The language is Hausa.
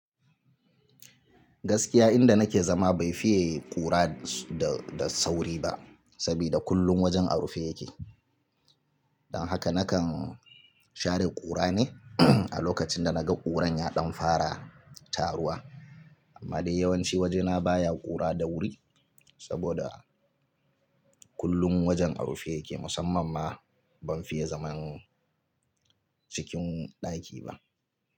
Gaskiya inda nake zama bai fiye kura da sauri ba saboda kullum wajen a rufe yake. Don haka nakan share kura ne a lokacin da na ga kuran ya ɗan fara taruwa. Amma dai yawanci wajena baya kura da wuri saboda kullum wajen a rufe yake musamman ma ban fiye zaman cikin ɗaki ba.